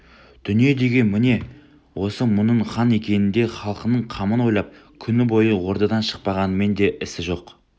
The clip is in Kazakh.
дүние деген міне осы мұның хан екенінде де халқының қамын ойлап күні бойы ордадан шықпағанымен де ісі жоқ